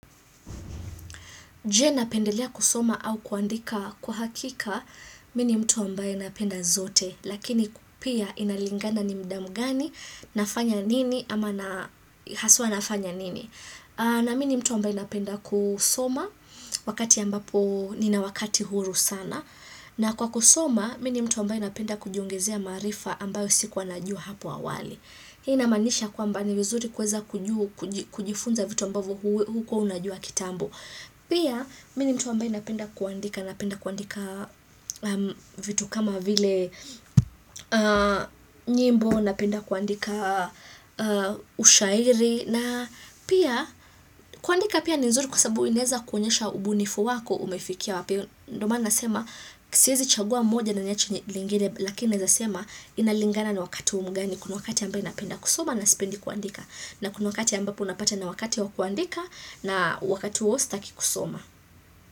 Je napendelea kusoma au kuandika kwa hakika mimi ni mtu ambaye napenda zote, lakini pia inalingana ni muda mgani, nafanya nini ama haswa nafanya nini. Na mimi ni mtu ambaye napenda kusoma, wakati ambapo nina wakati huru sana. Na kwa kusoma, mimi ni mtu ambaye napenda kujiongezea maarifa ambayo sikua najua hapo awali. Hii inamaanisha kwamba ni vizuri kuweza kujifunza vitu ambavyo hukua unajua kitambo. Pia, mimi ni mtu ambaye napenda kuandika Napenda kuandika vitu kama vile nyimbo, napenda kuandika ushairi na pia, kuandika pia ni nzuri Kwa sababu inaeza kuonyesha ubunifu wako umefikia wapi, ndio maana nasema siezi chagua moja na niache lingine Lakini naeza sema inalingana na wakati mgani Kuna wakati ambaye napenda kusoma na sipendi kuandika na kuna wakati ambapo unapata na wakati wa kuandika na wakati huo sitaki kusoma.